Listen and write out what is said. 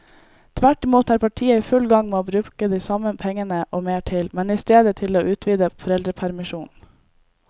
Tvert imot er partiet i full gang med å bruke de samme pengene og mer til, men i stedet til å utvide foreldrepermisjonen.